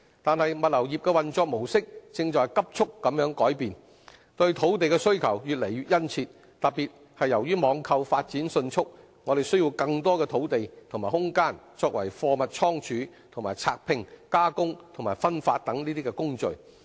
但是，物流業的運作模式正在急速改變，對土地的需求越來越殷切，特別是由於網購發展迅速，需要更多土地和空間作為貨物倉儲和拆拼、加工和分發等工序。